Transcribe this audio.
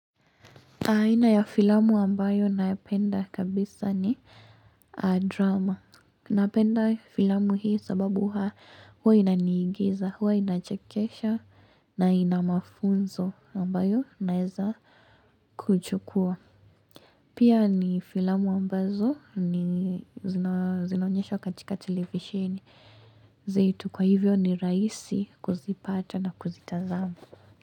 Aina ya filamu ambayo napenda kabisa ni drama. Napenda filamu hii sababu huwa inaniingiza, huwa inachekesha na ina mafunzo ambayo naeza kuchukua. Pia ni filamu ambazo ni zinaonyeshwa katika televisioni. Zetu kwa hivyo ni rahisi kuzipata na kuzitazama.